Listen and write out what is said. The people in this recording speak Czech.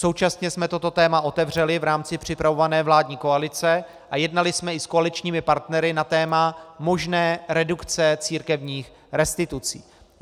Současně jsme toto téma otevřeli v rámci připravované vládní koalice a jednali jsme i s koaličními partnery na téma možné redukce církevních restitucí.